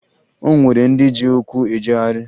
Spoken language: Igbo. O nwere ndị ji ụkwụ ejegharị